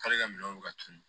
K'ale ka minɛnw ka tunun